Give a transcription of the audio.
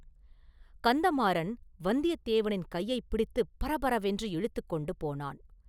கந்தமாறன் வந்தியத்தேவனின் கையைப் பிடித்து பரபரவென்று இழுத்துக் கொண்டு போனான்.